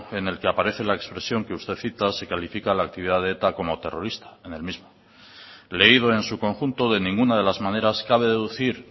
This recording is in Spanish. en el que aparece la expresión que usted cita se califica la actividad de eta como terrorista en el mismo leído en su conjunto de ninguna de las maneras cabe deducir